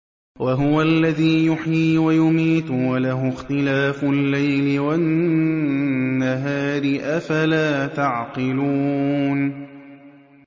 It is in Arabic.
وَهُوَ الَّذِي يُحْيِي وَيُمِيتُ وَلَهُ اخْتِلَافُ اللَّيْلِ وَالنَّهَارِ ۚ أَفَلَا تَعْقِلُونَ